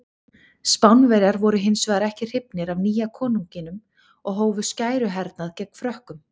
Spánverjar voru hins vegar ekki hrifnir af nýja konunginum og hófu skæruhernað gegn Frökkum.